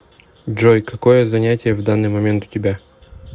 джой какое занятие в данный момент у тебя